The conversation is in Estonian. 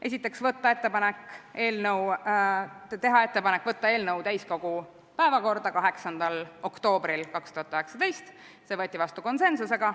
Esiteks, teha ettepanek võtta eelnõu täiskogu päevakorda 8. oktoobril 2019, see võeti vastu konsensusega.